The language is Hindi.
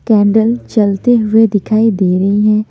कैंडल जलते हुए दिखाई दे रही हैं।